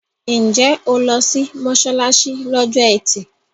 Ǹjẹ́ o lọ sí mọ́ṣáláṣí lọ́jọ́ ẹtì?